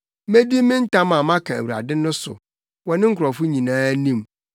Medi me ntam a maka Awurade no so wɔ ne nkurɔfo nyinaa anim,